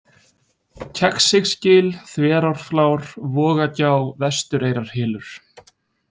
Kegsisgil, Þverárflár, Vogagjá, Vestureyrarhylur